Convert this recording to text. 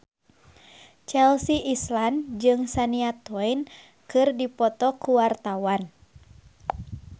Chelsea Islan jeung Shania Twain keur dipoto ku wartawan